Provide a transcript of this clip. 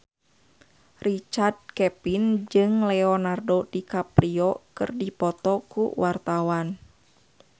Richard Kevin jeung Leonardo DiCaprio keur dipoto ku wartawan